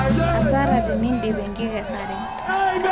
hasara tenidip enkikesare